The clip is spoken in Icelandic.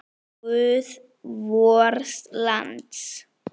Ó, guð vors lands!